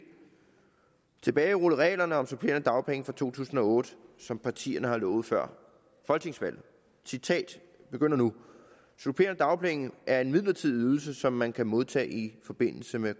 tilbagerulle reglerne om supplerende dagpenge fra to tusind og otte som partierne har lovet før folketingsvalget citatet begynder nu supplerende dagpenge er en midlertidig ydelse som man kan modtage i forbindelse med